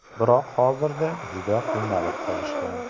Biroq hozirda juda qiynalib qolishgan.